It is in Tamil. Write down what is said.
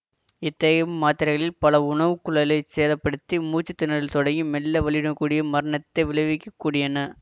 இத்தகைய மாத்திரைகளில் பல உணவுக்குழாயைச் சேத படுத்தி மூச்சுத்திணறலில் தொடங்கி மெல்ல வலியுடன் கூடிய மரணத்தை விளைவிக்கக்கூடியன